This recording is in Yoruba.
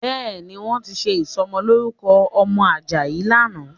Bẹ́ẹ̀ni, wọ́n ti ṣe ìsọmọlórúkọ ọmọ Àjàyí lánàá